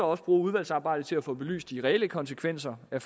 også bruge udvalgsarbejdet til at få belyst de reelle konsekvenser af